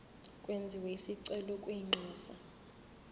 kwenziwe isicelo kwinxusa